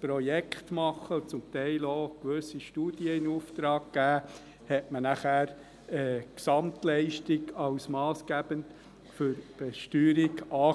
Projekt gemacht und teilweise gewisse Studien in Auftrag gegeben hatte, sah man danach die Gesamtleistung als massgebend für die Besteuerung an.